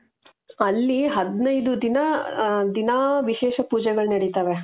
ಅಲ್ಲಿ ಹದಿನೈದು ದಿನ ದಿನಾ ವಿಶೇಷ ಪೂಜೆಗಳು ನಡೀತಾವೆ .